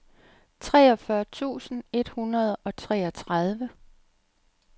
treogfyrre tusind et hundrede og treogtredive